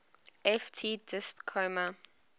ft disp comma